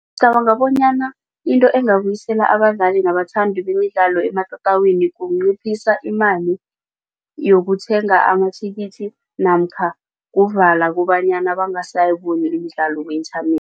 Ngicabanga bonyana into engabuyisela abadlali nabathandi bemidlalo ematatawini kunciphisa imali yokuthenga amathikithi namkha kuvala kobanyana bangasayiboni imidlalo